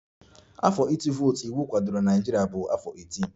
Afọ ịtụ vootu iwu kwadoro na Naịjirịa bụ afọ 18